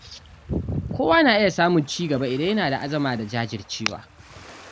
Kowa na iya samun ci gaba idan yana da azama da jajircewa.